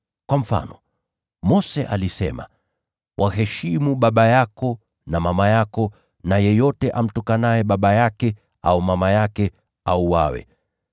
Kwa mfano, Mose alisema, ‘Waheshimu baba yako na mama yako,’ na, ‘Yeyote amtukanaye baba yake au mama yake, na auawe.’